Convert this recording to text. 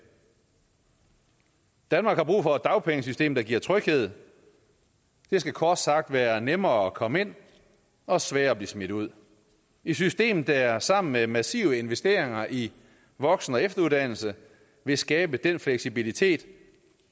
danmark har brug for et dagpengesystem der giver tryghed det skal kort sagt være nemmere at komme ind og sværere at blive smidt ud et system der sammen med massive investeringer i voksen og efteruddannelse vil skabe den fleksibilitet